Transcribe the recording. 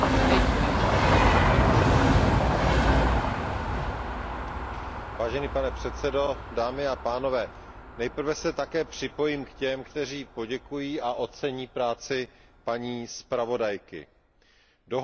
Pane předsedající, nejprve se také připojím k těm, kteří poděkují a ocení práci paní zpravodajky. Dohoda s Radou, které bylo dosaženo, je vždycky nejlepším možným řešením.